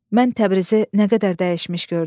Mən Təbrizi nə qədər dəyişmiş gördüm.